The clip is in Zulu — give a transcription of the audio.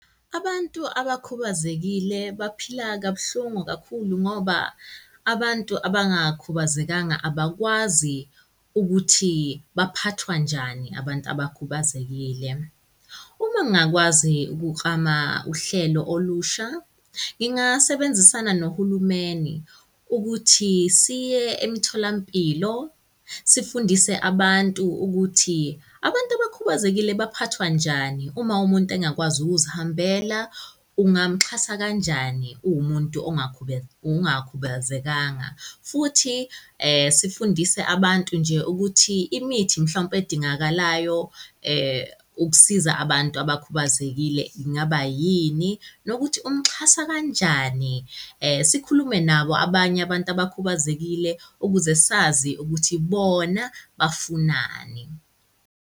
Abantu abakhubazekile baphila kabuhlungu kakhulu ngoba abantu abangakhubazekanga abakwazi ukuthi baphathwa njani abantu abakhubazekile. Uma ngingakwazi ukuklama uhlelo olusha, ngingasebenzisana nohulumeni ukuthi siye emitholampilo, sifundise abantu ukuthi abantu abakhubazekile baphathwa njani uma umuntu engakwazi ukuzihambela ungamuxhasa kanjani uwumuntu ongakhubazekanga. Futhi sifundise abantu nje ukuthi imithi mhlawumpe edingakalayo ukusiza abantu abakhubazekile ngaba yini nokuthi umxhasa kanjani. Sikhulume nabo abanye abantu abakhubazekile ukuze sazi ukuthi bona bafunani.